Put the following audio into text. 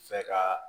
Fɛ ka